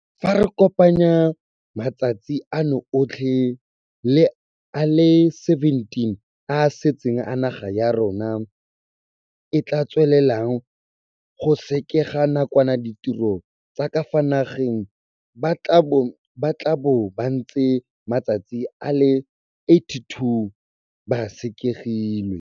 Fa re kopanya matsatsi ano otlhe le a le 17 a a setseng a naga ya rona e tla tswelelang go sekega nakwana ditiro tsa ka fa nageng, ba tla bo ba ntse matsatsi a le 82 ba sekegilwe.